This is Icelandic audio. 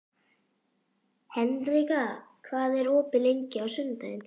Hendrikka, hvað er opið lengi á sunnudaginn?